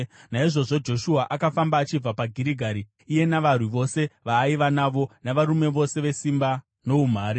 Naizvozvo Joshua akafamba achibva paGirigari, iye navarwi vose vaaiva navo, navarume vose vesimba noumhare.